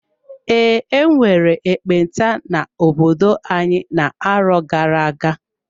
Ee, enwere ekpenta n'obodo anyị na-arọ gara-aga.